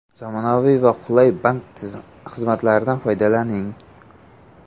Zamonaviy va qulay bank xizmatlaridan foydalaning!